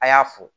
A y'a fo